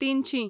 तिनशीं